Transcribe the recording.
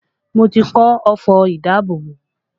Mo ti kọ́ ọfọ̀ ìdábòbò